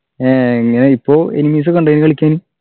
ഏഹ് ഇഞ്ഞ് ഇപ്പൊ enemies ക്കെണ്ടെനു കളിക്കാന്